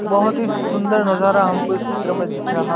बहोत ही सुंदर नजारा हमको इस चित्र में दिख रहा--